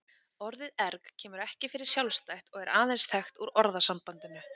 Orðið erg kemur ekki fyrir sjálfstætt og er aðeins þekkt úr orðasambandinu.